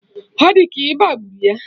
Ọ di ka ọ ịba gburu ya